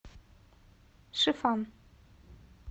шифан